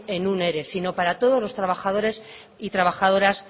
en un ere sino para todos los trabajadores y trabajadoras